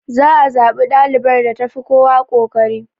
Za a zaɓi ɗalibar da tafi kowa kokari.